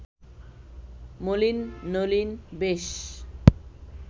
মলিন নলিন বেশ